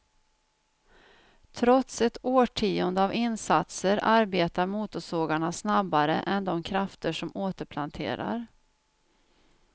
Trots ett årtionde av insatser arbetar motorsågarna snabbare än de krafter som återplanterar.